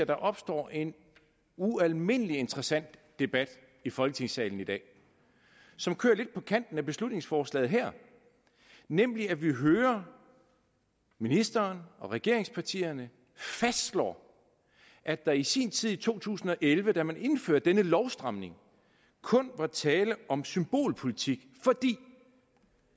der opstår en ualmindelig interessant debat i folketingssalen i dag som kører lidt på kanten af beslutningsforslaget her nemlig at vi hører ministeren og regeringspartierne fastslå at der i sin tid i to tusind og elleve da man indførte denne lovstramning kun var tale om symbolpolitik fordi